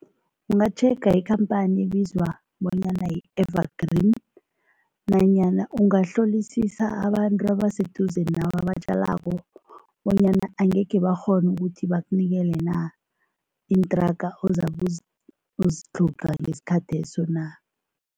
Ungatjhega ikhamphani ebizwa bonyana yi-Evergreen nanyana ungahlolisisa abantu abaseduze nawe abatjalako bonyana angekhe bakghona ukuthi bakunikele na, iinthraga ozabe uzitlhoga ngesikhatheso na.